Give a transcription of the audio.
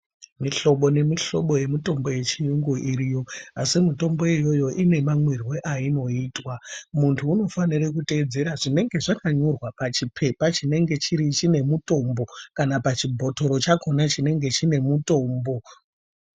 Mihlobo nemihlobo yemitombo yechirungu iriyo asi mitombo iyoyo ine mamwirwo ainoitwa muntu unofanirwa kutedzerwa zvinenge zvakanyorwa pachipepa chinenge chiri pachibhotoro chakona chinenge chine mutombo.